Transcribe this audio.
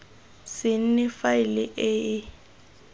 se nne faele e e